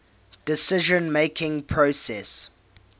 decision making process